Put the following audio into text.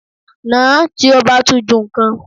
Nà-án tí ó bá tún ju nǹkan.